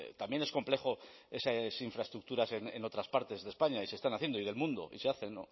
también es complejo esas infraestructuras en otras partes de españa y se están haciendo y del mundo y se hacen